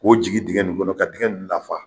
K'o jigi digɛn nin kɔnɔ ka digɛn nun lafa.